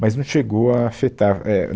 mas não chegou a afetar. é